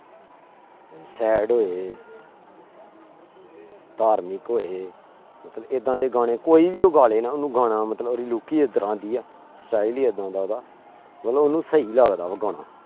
Sad ਹੋਏ ਧਾਰਮਿਕ ਹੋਏ ਮਤਲਬ ਏਦਾਂ ਦੇ ਗਾਣੇ ਕੋਈ ਵੀ ਉਹ ਗਾ ਲਏ ਨਾ ਉਹਨੂੰ ਗਾਣਾ ਮਤਲਬ ਉਹਦੀ look ਹੀ ਇਸ ਤਰ੍ਹਾਂ ਦੀ ਆ style ਹੀ ਏਦਾਂ ਦਾ ਉਹਦਾ ਮਤਲਬ ਉਹਨੂੰ ਸਹੀ ਲੱਗਦਾ ਵਾ ਗਾਣਾ।